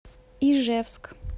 ижевск